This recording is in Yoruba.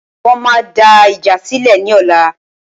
Wọ́n máa dá ìjà sílè ní ọ̀la